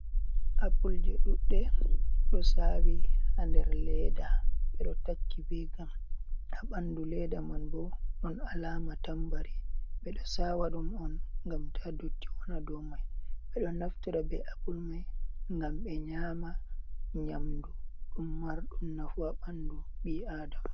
Appulje duɗɗe ɗo sawi ha nder leda. Ɓeɗo takki be gam ha ɓandu leda man, bo ɗon alama tambari. Ɓeɗo sawa ɗum on ngam ta dotti waɗa dow mai. Ɓeɗo naftira be appul mai ngam ɓe nyama nyamdu ɗum marɗum naafu ha ɓandu ɓi adama.